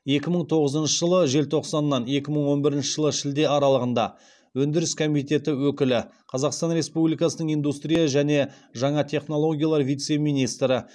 екі мың тоғызыншы жылы желтоқсаннан екі мың он бірінші жылы шілде аралығында өндіріс комитеті өкілі қазақстан республикасының индустрия және жаңа технологиялар вице министрі